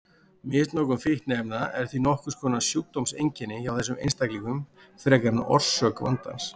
Misnotkun fíkniefna er því nokkurs konar sjúkdómseinkenni hjá þessum einstaklingum frekar en orsök vandans.